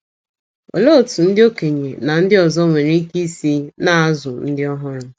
Olee otú ndị okenye na ndị ọzọ nwere ike isi na - azụ ndị ọhụrụ?